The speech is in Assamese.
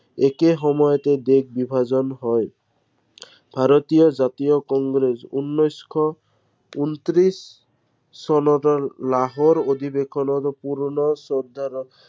একে সময়তে দেশ বিভাজন হয়। ভাৰতীয় জাতীয় কংগ্ৰেছ উনৈশ শ, উনত্ৰিশ চনত লাহোৰ অধিৱেশনত পুৰনা